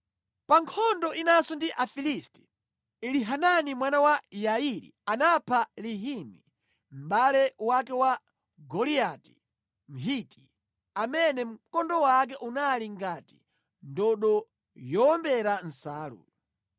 Pa nkhondo inanso ndi Afilisti, Elihanani mwana wa Yairi anapha Lahimi mʼbale wake wa Goliati Mgiti, amene mkondo wake unali ngati ndodo yowombera nsalu.